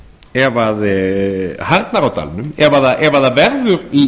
ef harðnar á dalnum ef það verður í